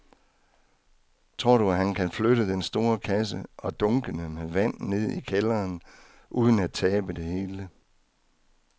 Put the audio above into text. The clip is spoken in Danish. Tror du, at han kan flytte den store kasse og dunkene med vand ned i kælderen uden at tabe det hele?